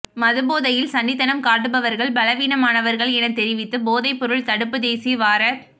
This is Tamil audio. மதுபோதையில் சண்டித்தனம் காட்டுபவர்கள் பலவீனமானர்கள் எனத் தெரிவித்து போதைப்பொருள் தடுப்பு தேசிய வாரத்